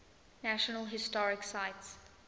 national historic site